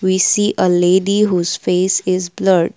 we see a lady who's face is blurred.